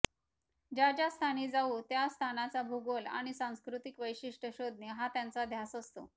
ज्या ज्या स्थानी जाऊ त्या स्थानाचा भूगोल आणि सांस्कृतिक वैशिष्ट्य शोधणे हा त्यांचा ध्यास असतो